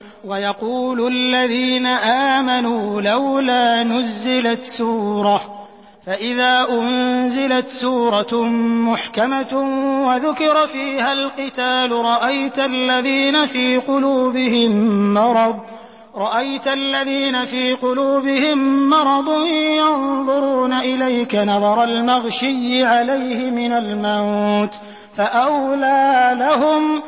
وَيَقُولُ الَّذِينَ آمَنُوا لَوْلَا نُزِّلَتْ سُورَةٌ ۖ فَإِذَا أُنزِلَتْ سُورَةٌ مُّحْكَمَةٌ وَذُكِرَ فِيهَا الْقِتَالُ ۙ رَأَيْتَ الَّذِينَ فِي قُلُوبِهِم مَّرَضٌ يَنظُرُونَ إِلَيْكَ نَظَرَ الْمَغْشِيِّ عَلَيْهِ مِنَ الْمَوْتِ ۖ فَأَوْلَىٰ لَهُمْ